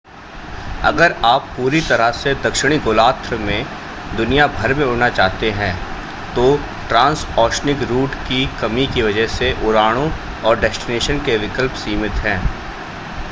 अगर आप पूरी तरह से दक्षिणी गोलार्ध में दुनिया भर में उड़ना चाहते हैं तो ट्रांसओशनिक रूट की कमी के वजह से उड़ानों और डेस्टिनेशन के विकल्प सीमित हैं